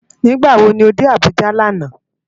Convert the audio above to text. Nigbá wó ló dé Abuja làná?